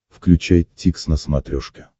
включай дтикс на смотрешке